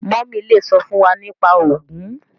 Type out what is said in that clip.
mummy le sọ fún wá nípa ogun